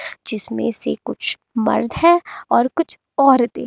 जिसमें से कुछ मर्द है और कुछ औरते।